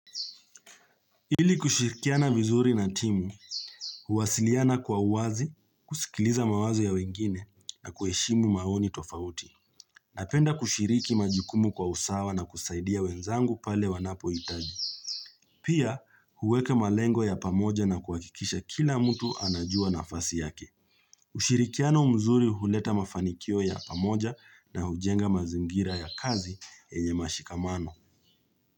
Ili kushirikiana vizuri na timu, huwasiliana kwa uwazi, kusikiliza mawazi ya wengine na kuheshimu maoni tofauti. Napenda kushiriki majikumu kwa usawa na kusaidia wenzangu pale wanapohitaji. Pia, huweke malengo ya pamoja na kuhakikisha kila mtu anajua nafasi yake. Ushirikiano mzuri huleta mafanikio ya pamoja na hujenga mazingira ya kazi enye mashikamano.